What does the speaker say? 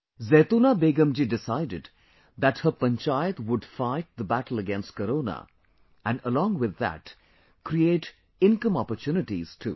Zaitoona Begum ji decided that her Panchayat would fight the battle against Corona and along with that, create income opportunities too